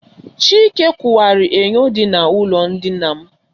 Chike ụkwara enyo dị na ụlọ ndina m.